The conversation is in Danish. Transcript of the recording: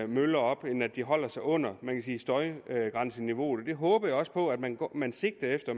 møller op end at de holder sig under støjgrænseniveauet det håber jeg også på at man man sigter efter